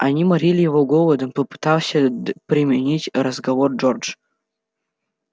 они морили его голодом попытался переменить разговор джордж